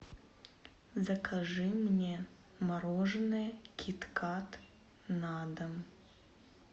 закажи мне мороженое киткат на дом